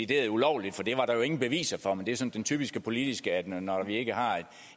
det ulovligt for det er der jo ingen beviser for men det er sådan typisk for politikere nemlig at når vi ikke har